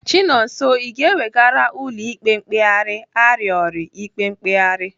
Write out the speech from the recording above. Chinonso, Ị ga-ewegara ụlọ ikpe mkpegharị arịọri ikpe mkpegharị?